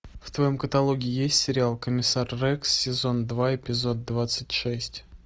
в твоем каталоге есть сериал комиссар рекс сезон два эпизод двадцать шесть